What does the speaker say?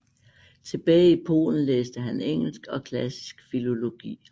Tilbage i Polen læste han engelsk og klassisk filologi